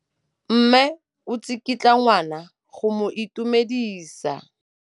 Mme o tsikitla ngwana go mo itumedisa.